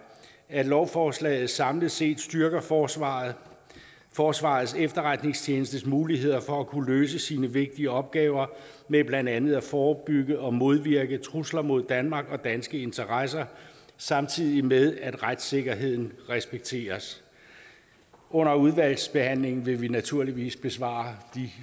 at lovforslaget samlet set styrker forsvarets forsvarets efterretningstjenestes muligheder for at kunne løse sine vigtige opgaver med blandt andet at forebygge og modvirke trusler mod danmark og danske interesser samtidig med at retssikkerheden respekteres under udvalgsbehandlingen vil vi naturligvis besvare de